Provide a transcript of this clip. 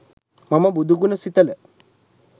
මම බුදු ගුණ සිතල